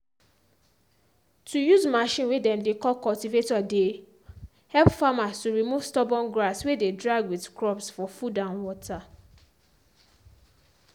to use machine way dem dey call cultivator dey help farmers to remove stubborn grass way dey drag with crops for food and water.